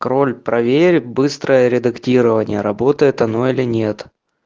кроль проверит быстрое редактирование работает оно или нет